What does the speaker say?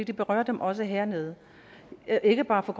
det berører dem også hernede ikke bare